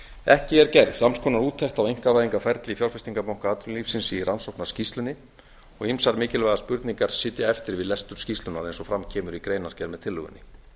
ekki er gerð sams konar úttekt á einkavæðingarferli fjárfestingarbanka atvinnulífsins í rannsóknarskýrslunni og ýmsar mikilvægar spurningar sitja eftir við lestur skýrslunnar eins og fram kemur greinargerð með tillögunni